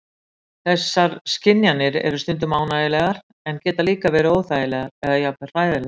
Þessar skynjanir eru stundum ánægjulegar en geta líka verið óþægilegar eða jafnvel hræðilegar.